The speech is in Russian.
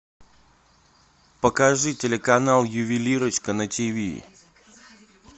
покажи телеканал ювелирочка на тиви